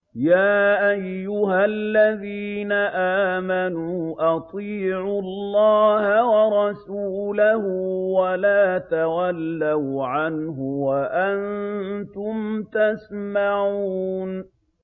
يَا أَيُّهَا الَّذِينَ آمَنُوا أَطِيعُوا اللَّهَ وَرَسُولَهُ وَلَا تَوَلَّوْا عَنْهُ وَأَنتُمْ تَسْمَعُونَ